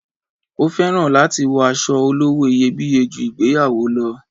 O féràn láti wọ aṣọ olówó iyebíye ju ìgbéyàwó lo